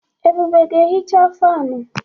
Ebube ga-ehicha fanụ.